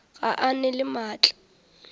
ga a na le maatla